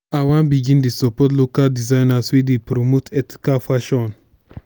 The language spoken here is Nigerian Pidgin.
i wan begin dey support local designers wey dey promote ethical fashion.